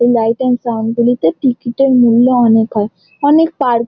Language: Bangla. এই লাইট এন্ড সাউন্ড গুলিতে টিকিট এর মূল্য অনকে হয়। অনেক পার্ক ।